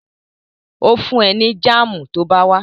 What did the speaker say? Ó fún ẹ ní jáàmù tó bá wá